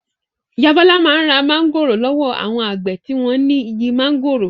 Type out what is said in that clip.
Ìyá Bọ́lá máa ń ra mángòrò lọ́wọ́ àwọn àgbẹ̀ tí wọ́n ní igi máńgòrò.